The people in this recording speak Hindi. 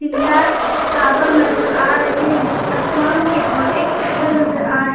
तीन चार टावर नजर आ रहे हैं आसमान के और एक सूरज नजर आ रही--